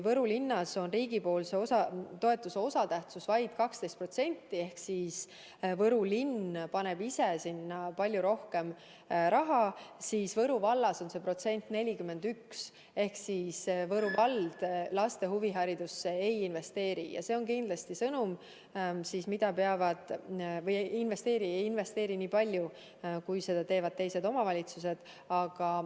Võru linnas on riigi toetuse osatähtsus vaid 12% ehk Võru linn paneb ise palju rohkem raha, seevastu Võru vallas on see näitaja 41% ehk Võru vald laste huviharidusse nii palju ei investeeri kui teised omavalitsused.